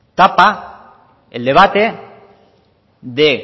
tapa el debate de